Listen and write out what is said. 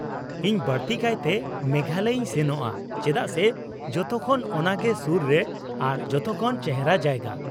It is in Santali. -ᱤᱧ ᱵᱟᱹᱲᱛᱤᱠᱟᱭᱛᱮ ᱢᱮᱜᱷᱟᱞᱚᱭᱤᱧ ᱥᱮᱱᱚᱜᱼᱟ, ᱪᱮᱫᱟᱜ ᱥᱮ ᱡᱚᱛᱚᱠᱷᱚᱱ ᱚᱱᱟᱜᱮ ᱥᱩᱨ ᱨᱮ ᱟᱨ ᱡᱚᱛᱚᱠᱷᱚᱱ ᱪᱮᱦᱨᱟ ᱡᱟᱭᱜᱟ ᱾